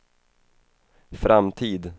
framtid